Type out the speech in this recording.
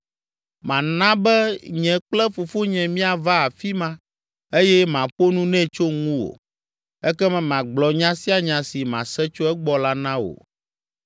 Mana be nye kple fofonye míava afi ma eye maƒo nu nɛ tso ŋuwò. Ekema magblɔ nya sia nya si mase tso egbɔ la na wò.”